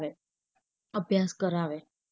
અભ્યાસ કરાવે.